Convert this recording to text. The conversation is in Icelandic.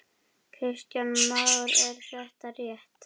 Kristján Már: Er þetta rétt?